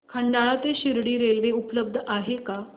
खंडाळा ते शिर्डी रेल्वे उपलब्ध आहे का